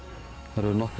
það eru